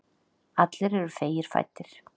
Allir eru feigir fæddir.